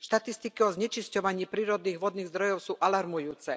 Štatistiky o znečisťovaní prírodných vodných zdrojov sú alarmujúce.